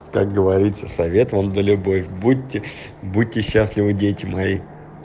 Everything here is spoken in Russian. как говорится совет вам да любовь будьте будьте счастливы дети мои